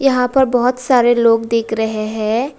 यहां पर बहुत सारे लोग देख रहे हैं।